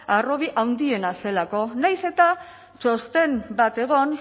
harrobi handiena zelako nahiz eta txosten bat egon